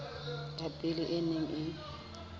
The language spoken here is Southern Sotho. ya pele e neng e